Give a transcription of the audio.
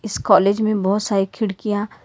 इस कॉलेज में बहुत सारी खिड़कियां--